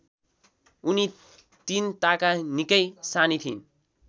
उनी तिनताका निकै सानी थिइन्